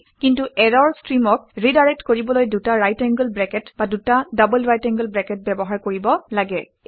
কিন্তু ইৰৰ ষ্ট্ৰীমক ৰিডাইৰেক্ট কৰিবলৈ দুটা ৰাইট এংগোল ব্ৰেকেট বা দুটা ডবল ৰাইট এংগোল ব্ৰেকেট ব্যৱহাৰ কৰিব লাগে